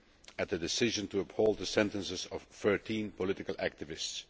at the decision to uphold the sentences of 13 political activists.